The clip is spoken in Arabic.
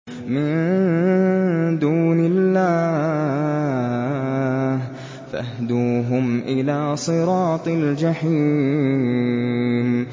مِن دُونِ اللَّهِ فَاهْدُوهُمْ إِلَىٰ صِرَاطِ الْجَحِيمِ